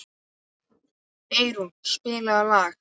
Eyrún, spilaðu lag.